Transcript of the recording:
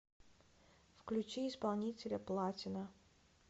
включи исполнителя платина